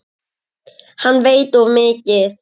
Hann veit of mikið.